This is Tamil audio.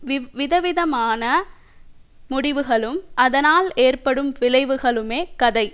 வி விதவிதமான முடிவுகளும் அதனால் ஏற்படும் விளைவுகளுமே கதை